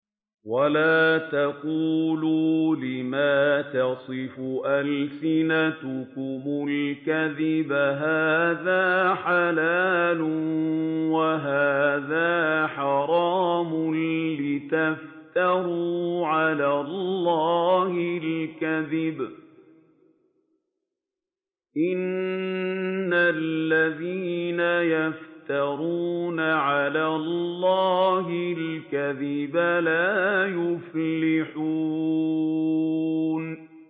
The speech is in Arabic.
وَلَا تَقُولُوا لِمَا تَصِفُ أَلْسِنَتُكُمُ الْكَذِبَ هَٰذَا حَلَالٌ وَهَٰذَا حَرَامٌ لِّتَفْتَرُوا عَلَى اللَّهِ الْكَذِبَ ۚ إِنَّ الَّذِينَ يَفْتَرُونَ عَلَى اللَّهِ الْكَذِبَ لَا يُفْلِحُونَ